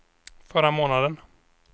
förra månaden